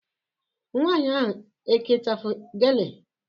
Nwaanyị ahụ eke ichafu gele?